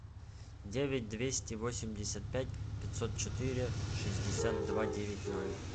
девять двести восемьдесят пять пятьсот четыре шестьдесят два девять ноль